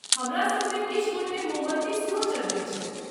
हमरासभमे किछु गोटे मोमबत्ती सेहो जरबैत छथि।